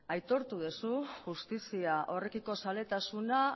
aitortu duzu justizia horrekiko zaletasuna